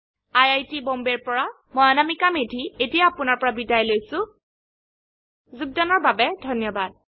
I I T Bombay ৰ পৰা মই অনামিকা মেধী এতিয়া আপুনাৰ পৰা বিদায় লৈছো যোগদানৰ বাবে ধন্যবাদ